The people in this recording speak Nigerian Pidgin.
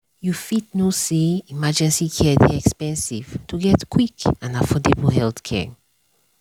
you fit know say emergency care dey expensive to get quick and affordable healthcare.